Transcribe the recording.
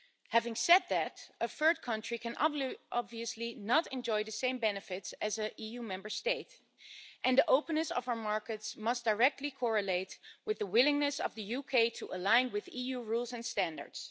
Having said that, a third country can obviously not enjoy the same benefits as an EU Member State, and the openness of our markets must directly correlate with the willingness of the UK to align with EU rules and standards.